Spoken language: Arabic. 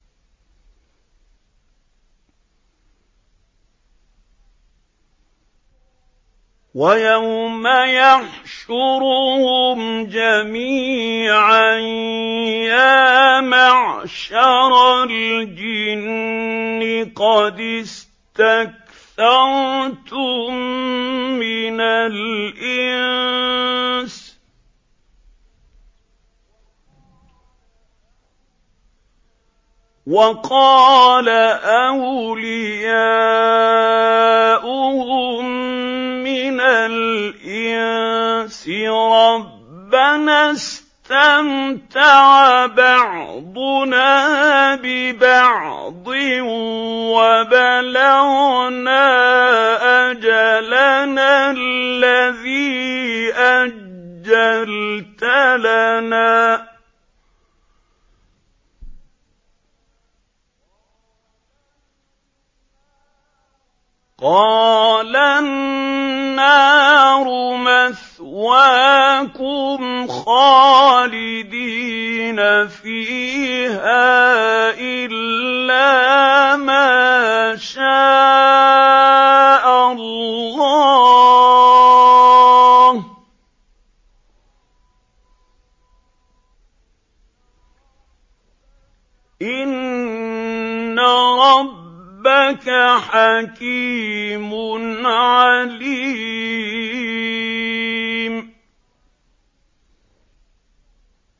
وَيَوْمَ يَحْشُرُهُمْ جَمِيعًا يَا مَعْشَرَ الْجِنِّ قَدِ اسْتَكْثَرْتُم مِّنَ الْإِنسِ ۖ وَقَالَ أَوْلِيَاؤُهُم مِّنَ الْإِنسِ رَبَّنَا اسْتَمْتَعَ بَعْضُنَا بِبَعْضٍ وَبَلَغْنَا أَجَلَنَا الَّذِي أَجَّلْتَ لَنَا ۚ قَالَ النَّارُ مَثْوَاكُمْ خَالِدِينَ فِيهَا إِلَّا مَا شَاءَ اللَّهُ ۗ إِنَّ رَبَّكَ حَكِيمٌ عَلِيمٌ